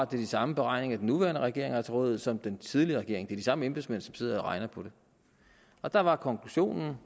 de samme beregninger den nuværende regering har til rådighed som den tidligere regering er de samme embedsmænd som sidder og regner på det og der var konklusionen